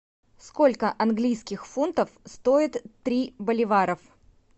сколько английских фунтов стоит три боливаров